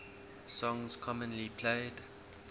songs commonly played